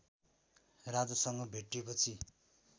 राजासँग भेटेपछि